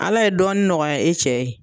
Ala ye dɔɔni nɔgɔya i cɛ ye